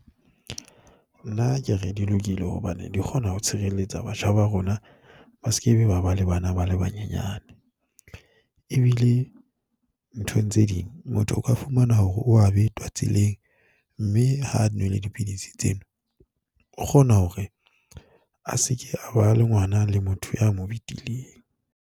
Nna ke re di lokile hobane di kgona ho tshireletsa batjha ba rona. Ba sekebe ba ba le bana ba le ba nyenyane ebile nthong tse ding motho o ka fumana hore o a betwa tseleng mme ha nwele dipidisi tsena, o kgona hore a se ke a ba le ngwana le motho a mo betileng.